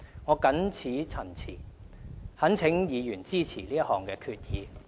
我謹此陳辭，懇請議員支持這項決議。